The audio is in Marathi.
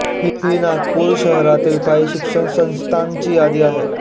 ही नागपूर शहरातील काही शिक्षण संस्थांची यादी आहे